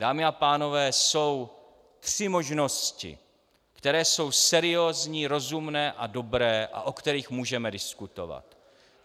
Dámy a pánové, jsou tři možnosti, které jsou seriózní, rozumné a dobré a o kterých můžeme diskutovat.